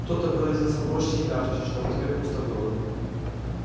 кто-то выразился проще и мягче чтоб тебе пусто было